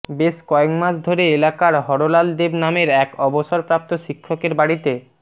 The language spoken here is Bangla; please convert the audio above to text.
বেশ কয়েক মাস ধরে এলাকার হরলাল দেব নামের এক অবসর প্রাপ্ত শিক্ষকের বাড়িতে